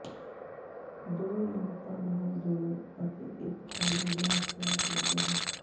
ਦੋ ਜਨਤਾ ਨਾਲ ਜੁੜੋ ਅਤੇ ਇੱਕ ਫਾਈਨਲ ਬੈਚ ਤਿਆਰ ਕਰਦੇ ਹਨ